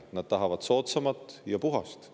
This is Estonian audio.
Nad tahavad soodsamat ja puhast.